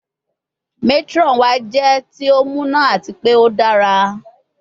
Matron wa jẹ ti o muna ati pe o dara